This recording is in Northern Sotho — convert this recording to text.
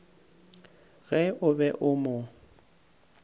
ge o be o mo